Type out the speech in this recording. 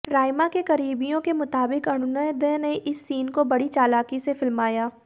राइमा के करीबियों के मुताबिक अरुणोदय ने इस सीन को बड़ी चालाकी से फिल्माया